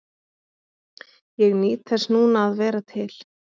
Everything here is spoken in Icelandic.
Ég nýt þess núna að vera til.